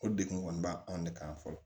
O degun kɔni ba anw de kan fɔlɔ